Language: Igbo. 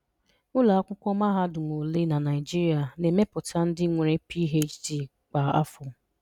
Ụlọ akwụkwọ mahadum ole na Naịjirịa na emeputa ndị nwere PhD kwa afọ?